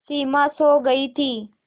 सिमा सो गई थी